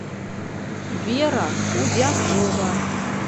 вера худякова